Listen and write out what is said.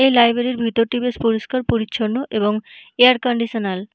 এই লাইব্রেরি -র ভিতরটি বেশ পরিষ্কার পরিছন্ন এবং এয়ার কন্ডিশনাল ।